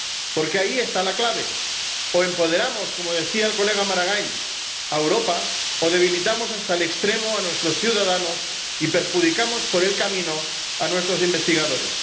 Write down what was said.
Porque ahí está la clave o empoderamos, como decía el colega Maragall, a Europa, o debilitamos hasta el extremo a nuestros ciudadanos y perjudicamos por el camino a nuestros investigadores.